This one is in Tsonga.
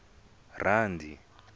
rali